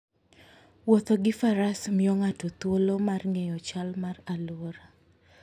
Wuotho gi Faras miyo ng'ato thuolo mar ng'eyo chal mar alwora.